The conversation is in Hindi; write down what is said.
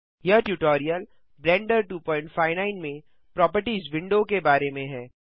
यह ट्यूटोरियल ब्लेंडर 259 में प्रोपर्टिज विंडो के बारे में है